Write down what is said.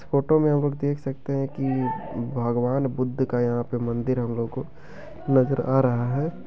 Photo में हम लोग देख सकते हैं कि भगवान बुद्ध का यहाँ पे मंदिर हमलोगो को नजर आ रहा है।